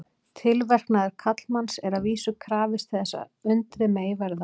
Tilverknaðar karlmanns er að vísu krafist til þess að undrið megi verða.